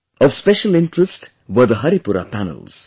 Of special interest were the Haripura Panels